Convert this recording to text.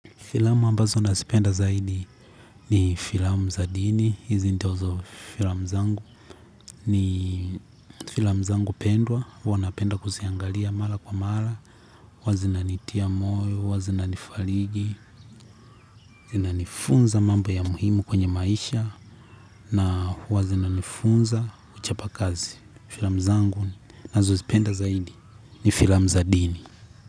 Filamu ambazo nasipenda zaidi ni filamu za dini, hizi ndizo filamu zangu ni filamu zangu pendwa, huwa napenda kusiangalia mala kwa mala, huwa zinanitia moyo, huwa zinanifariji, zinanifunza mambo ya muhimu kwenye maisha na huwa zinanifunza kuchapa kazi. Filamu zangu nazozipenda zaidi ni filamu za dini.